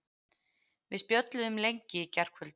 Við spjölluðum lengi í gærkvöldi.